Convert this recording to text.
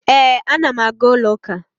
Ee, ana m aga ụlọụka